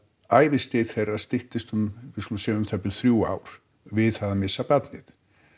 æviskeið þeirra styttist um við skulum segja þrjú ár við það að missa barnið